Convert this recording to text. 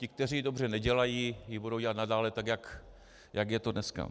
Ti, kteří ji dobře nedělají, ji budou dělat nadále tak, jak je to dneska.